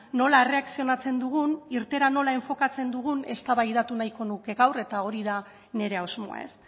nola erreakzionatzen dugun irteera nola enfokatzen dugun eztabaidatu nahiko nuke gaur eta hori da nire asmoa ez